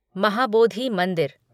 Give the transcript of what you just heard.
महाबोधी मंदिर